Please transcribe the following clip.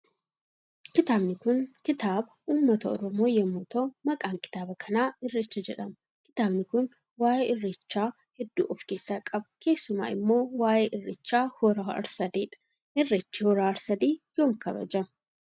Kitaabni Kun kitaaba kitaaba uummata oromoo yommuuu ta'uu maqaan kitaaba kanaa irreechaa jedhama. Kitaabni Kun waa'ee irreechaa hedduu of kessa qaba kessuma immoo waa'ee irreechaa hora harsadeedha. irreechii hora harsadii yoom kabajama?